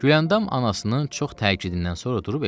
Güləndam anasının çox təkidindən sonra durub evinə getdi.